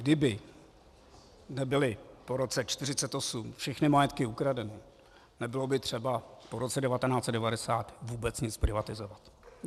Kdyby nebyly po roce 1948 všechny majetky ukradeny, nebylo by třeba po roce 1990 vůbec nic privatizovat.